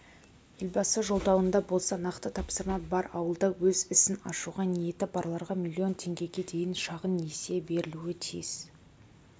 елбасы жолдауында болса нақты тапсырма бар ауылда өз ісін ашуға ниеті барларға млн теңгеге дейін шағын несие берілуі тиіс